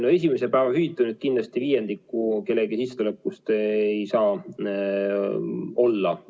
No esimese päeva hüvitamine – kindlasti viiendik see kellegi sissetulekust ei saa olla.